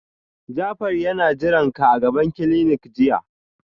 Jafar yana jiranka a gaban clinic jiya